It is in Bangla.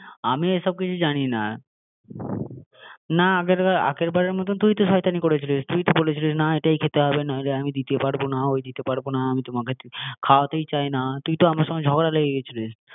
আগের বারের মতো যেন না হয় আমি এসব কিছু জানি না না ~আগের বারের মতন তো তুই তো শয়তানি করেছিলি তুই তো বলেছিলি না এটাই খেতে হবে, নইলে আমি দিতে পারবো না, ওই দিতে পারবো না আমি তো তোমাকে খাওয়াতেই চাই না তুই তো আমার সঙ্গে ঝগড়া লেগে গিয়েছিলো